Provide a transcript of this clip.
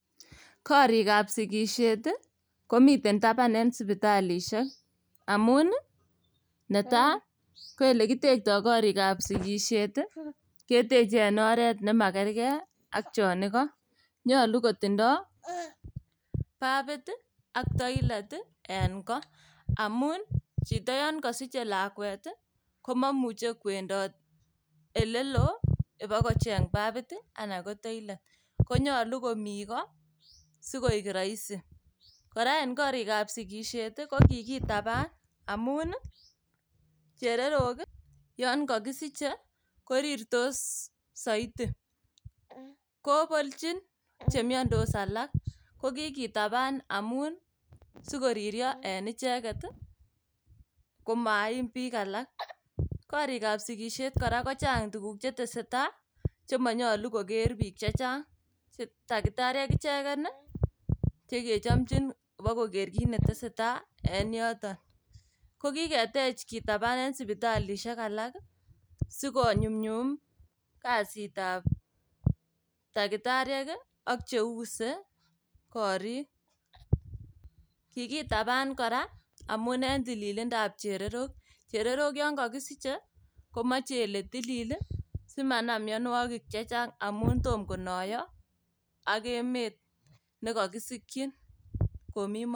Korikab sikisiet ii komiten taban en sipitalisiek amun ii netai koelekitekto korikab sikisiet ii keteche en oret nemakerkei ak chon iko, nyolu kotindo babit ii ak toilet ii en koo. Amun ii chito yon kosiche lakwet ii komomuche kwendot elelo ibakocheng' babit ii anan ko toilet, konyolu komi ko sikoik roisi. Kora en korikab sikisiet ii kokikitaban amun ii chererok yon kokisiche korirtos soiti kobolchin chemiondos alak kokikitaban sikoririo en icheget ii komaim biik alak. Korikab sikisiet ii kora kochang' tuguk chetesetai chemonyolu koker biik chechang', takitariek ichegen ii chegechomchin ibokoker kiit netesetai en yoton. Kokiketech kitaban en sipitalisiek alak ii sikonyunyum kazitab takitariek ii ak cheuse korik. Kikitaban kora amun en tililindap chererok, cherereok yon kokisiche komoche ile tilil ii simanam mionwogik chechang' amun tom ak emet nekokisikyin komi moet.